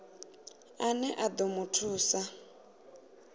ane a ḓo mu thusa